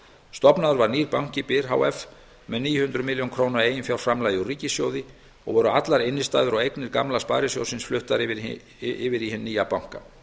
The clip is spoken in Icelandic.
stofnaður var nýr banki byr h f með níu hundruð milljóna króna eiginfjárframlagi úr ríkissjóði og voru allar innstæður og eignir gamla sparisjóðsins fluttar yfir í hinn nýja banka í samræmi við